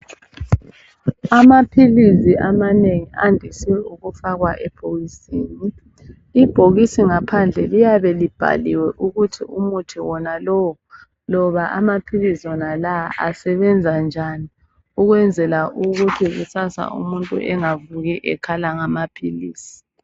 Amaphilizi amanengi andise ukufakwa ebhokisini. Ibhokisi ngaphandle liyabe libhaliwe ukuthi umuthi wonalowo loba amaphilisi wonalawa asebenza njani ukwenzela ukuthi kusasa umuntu engavuki ekhala ngamaphilisi.